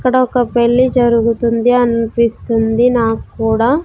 ఇక్కడ ఒక పెళ్ళి జరుగుతుంది అన్పిస్తుంది నాక్కూడా.